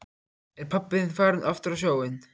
Er pabbi þinn farinn aftur á sjóinn?